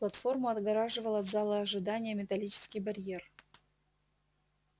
платформу отгораживал от зала ожидания металлический барьер